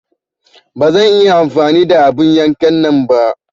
Ba zan iya amfani da abun yankan nan ba.